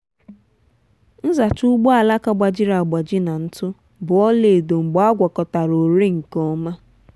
nzacha ugbo alaka gbajiri agbaji na ntụ bụ ọla edo mgbe agwakọtara oréé nke ọma.